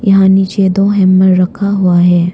यहां नीचे दो हैमर रखा हुआ है।